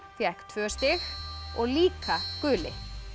fékk tvö stig og líka guli